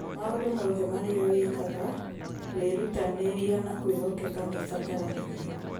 maũndũ mothe marĩa wĩkaga, wĩrutanĩria na kwĩhokeka nĩ ũbataranagia